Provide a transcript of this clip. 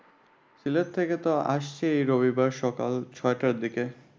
সিলেট থেকে তো আসছি রবিবারে সকাল ছয়টার দিকে।